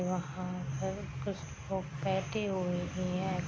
वहाँ पर कुछ लोग बैठे हुए भी हैं |